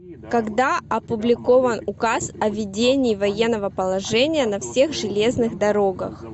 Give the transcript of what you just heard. когда опубликован указ о введении военного положения на всех железных дорогах